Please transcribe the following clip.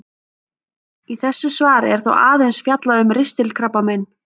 Í þessu svari er þó aðeins fjallað um ristilkrabbamein.